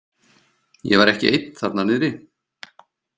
Ég var ekki einn þarna niðri.